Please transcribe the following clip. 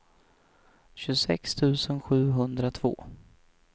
tjugosex tusen sjuhundratvå